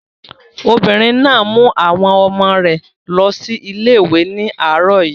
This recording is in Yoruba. Obìnrin náà mú àwọn ọmọ rẹ̀ lọ sí ilé ìwé ní àárọ̀ yìí.